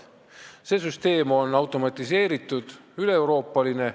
See süsteem on automatiseeritud ja üleeuroopaline.